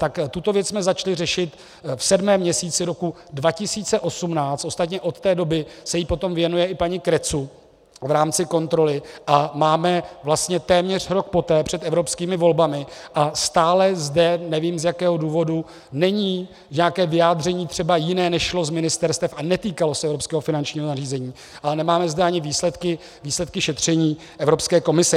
Tak tuto věc jsme začali řešit v sedmém měsíci roku 2018, ostatně od té doby se jí potom věnuje i paní Cretu v rámci kontroly a máme vlastně téměř rok poté před evropskými volbami a stále zde, nevím z jakého důvodu, není nějaké vyjádření třeba jiné, než šlo z ministerstev a netýkalo se evropského finančního nařízení, ale nemáme zde ani výsledky šetření Evropské komise.